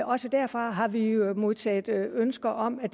også derfra har vi vi modtaget ønske om